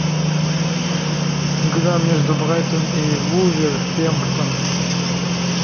игра между брайтон и вулверхэмптон